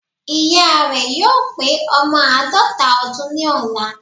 Ìya rè yóò pé ọmọ àádọ́ta ọdún ní ọ̀la